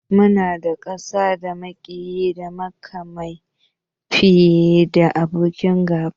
Muna da ƙasa da maƙiya da makamai fiye da abokan gaba